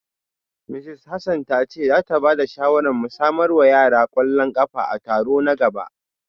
Mrs Hassan ta ce za ta ba da shawarar mu samar wa yara kwallon kafa a taro na gaba